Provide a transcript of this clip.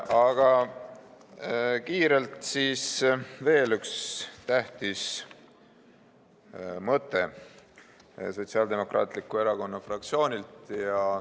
Aga kiirelt veel üks tähtis mõte Sotsiaaldemokraatliku Erakonna fraktsioonilt.